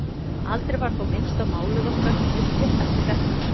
Aldrei var þó minnst á málið okkar á milli eftir þetta.